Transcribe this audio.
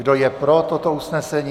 Kdo je pro toto usnesení?